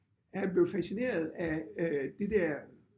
Er han blevet fascineret af øh det der